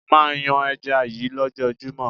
Máa yan ẹja yí ló jọ júmọ́.